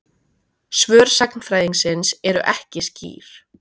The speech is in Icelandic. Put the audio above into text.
Svör sagnfræðingsins eru ekki skýr.